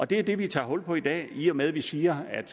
det er det vi tager hul på i dag i og med at vi siger at